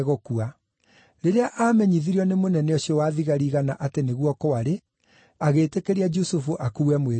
Rĩrĩa aamenyithirio nĩ mũnene ũcio wa thigari igana atĩ nĩguo kwarĩ, agĩĩtĩkĩria Jusufu akuue mwĩrĩ ũcio.